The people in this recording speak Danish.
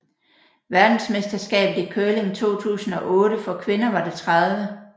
Verdensmesterskabet i curling 2008 for kvinder var det 30